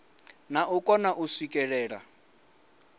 na u kona u swikelela